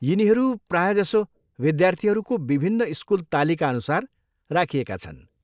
यिनीहरू प्रायःजसो विद्यार्थीहरूको विभिन्न स्कुल तालिकाअनुसार राखिएका छन्।